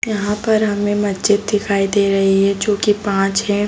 यहाँ पर हमें मस्जिद दिखाई दे रही है जो की पाँच है।